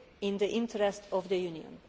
in the interests of the Union.